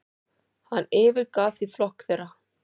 Hann yfirgaf því flokk þeirra.